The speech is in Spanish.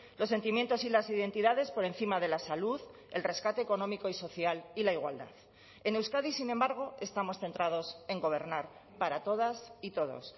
los sentimientos y las identidades por encima de la salud el rescate económico y social y la igualdad en euskadi sin embargo estamos centrados en gobernar para todas y todos